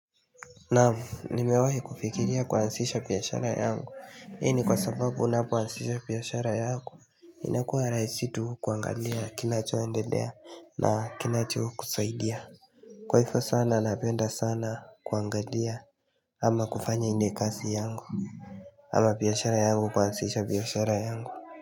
Naam nimewahi kufikiria kuansisha piyashara yangu ii ni kwa sababu unapoansisha piyashara yangu inakuwa raisi tu kuangalia kinachoendedea na kinachokusaidia Kwaifo sana napenda sana kuangalia ama kufanya ine kasi yangu ama piyashara yangu kuansisha piyashara yangu.